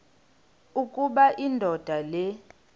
ukuba indoda le